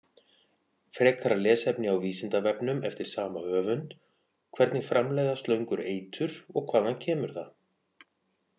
Frekara lesefni á Vísindavefnum eftir sama höfund: Hvernig framleiða slöngur eitur og hvaðan kemur það?